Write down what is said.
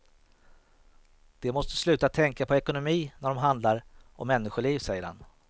De måste sluta tänka på ekonomi när det handlar om människoliv, säger han.